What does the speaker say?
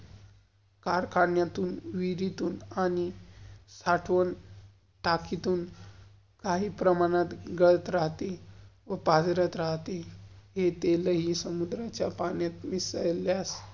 कार्खान्यतुन, विहिरीतून आणि साठवण टाकितुन कही प्रमाणात गळत रहती व पाज्रत रहती. इथे लई सम्दुराच्या पाण्यात मिसळयास.